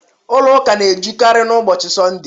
Ụlọ ụka na-ejukarị n'ụbọchị Sọnde